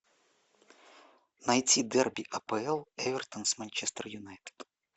найти дерби апл эвертон с манчестер юнайтед